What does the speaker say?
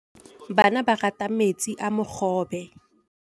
Bana ba rata metsi a mogobe.